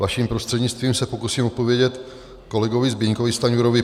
Vaším prostřednictvím se pokusím odpovědět kolegovi Zbyňkovi Stanjurovi.